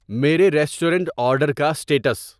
میرے restaurant order کا status